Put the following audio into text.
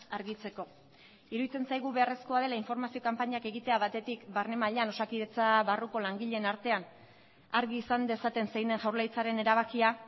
argitzeko iruditzen zaigu beharrezkoa dela informazio kanpainak egitea batetik barne mailan osakidetza barruko langileen artean argi izan dezaten zein den jaurlaritzaren erabakia